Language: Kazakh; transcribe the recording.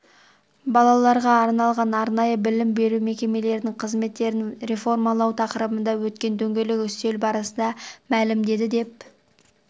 балаларға арналған арнайы білім беру мекемелерінің қызметтерін реформалау тақырыбында өткен дөңгелек үстел барысында мәлімдеді деп